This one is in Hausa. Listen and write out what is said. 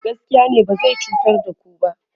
shi Mai gaskiya ne ba zai cutar da ku ba